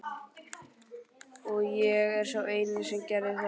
Og ég er sá eini sem það gerir.